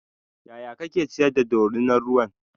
yaya kake ciyar da dorinar ruwan?